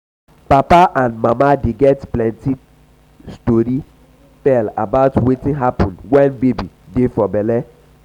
papa and mama dey get plenty time tell tori about wetin happun wen baby dey for belle.